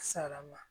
Sara ma